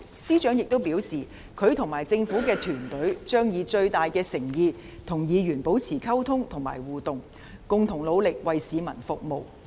司長亦表示，他和政府團隊將以最大的誠意與議員保持溝通和互動，共同努力為市民服務。